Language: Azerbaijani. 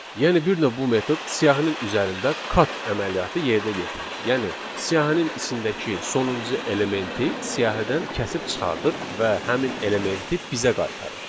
Yəni bir növ bu metod siyahının üzərində cut əməliyyatı yerinə yetirir, yəni siyahının içindəki sonuncu elementi siyahıdan kəsib çıxardır və həmin elementi bizə qaytarır.